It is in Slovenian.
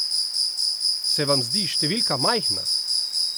Se vam zdi številka majhna?